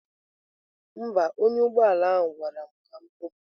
Mba, onye ọkwọ ụgbọ ala ahụ gwara m ka m kụpụ.